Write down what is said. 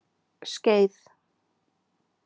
Skeið